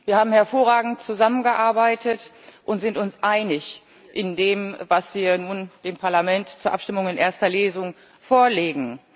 Wir haben hervorragend zusammengearbeitet und sind uns einig in dem, was wir nun dem Parlament zur Abstimmung in erster Lesung vorlegen.